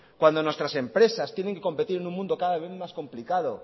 cuando nuestras empresas tienen que competir en un mundo cada vez más complicado